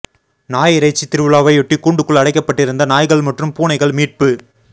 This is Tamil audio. நாய் இறைச்சி திருவிழாவையொட்டி கூண்டுக்குள் அடைக்கப்பட்டிருந்த நாய்கள் மற்றும் பூனைகள் மீட்பு